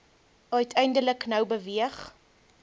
uiteindelik nou beweeg